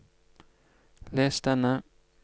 les denne